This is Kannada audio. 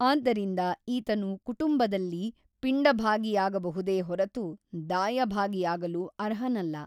ಆದ್ದರಿಂದ ಈತನು ಕುಟುಂಬದಲ್ಲಿ ಪಿಂಡಭಾಗಿಯಾಗಬಹುದೇ ಹೊರತು ದಾಯಭಾಗಿಯಾಗಲು ಅರ್ಹನಲ್ಲ.